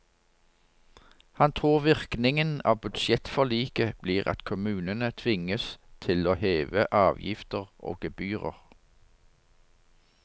Han tror virkningen av budsjettforliket blir at kommunene tvinges til å heve avgifter og gebyrer.